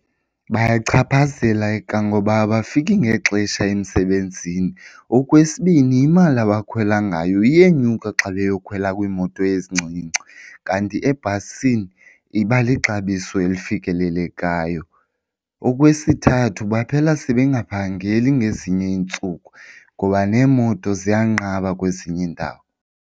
Bayachaphazeleka ngoba abafiki ngexesha emsebenzini. Okwesibini imali abakhwela ngayo iyenyuka xa beyokhwela kwiimoto ezincinci, kanti ebhasini iba lixabiso elifikelelekayo. Okwesithathu baphela sebengaphangeli ngezinye iintsuku ngoba neemoto ziyanqaba kwezinye iindawo.